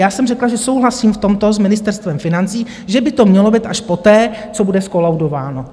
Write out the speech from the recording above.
Já jsem řekla, že souhlasím v tomto s Ministerstvem financí, že by to mělo být až poté, co bude zkolaudováno.